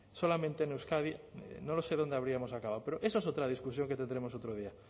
solamente en euskadi no lo sé dónde habríamos acabado pero eso es otra discusión que tendremos otro día